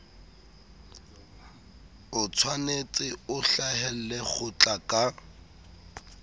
otshwanetse o hlahelle kgotla ka